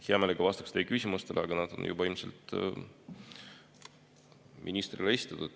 Hea meelega vastaksin teie küsimustele, aga need on juba ilmselt ministrile esitatud.